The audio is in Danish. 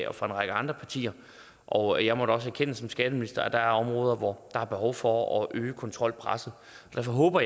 og fra en række andre partier og jeg må da også erkende som skatteminister at der er områder hvor der er behov for at øge kontrolpresset så jeg håber